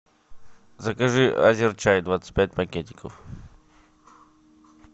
закажи азер чай двадцать пять пакетиков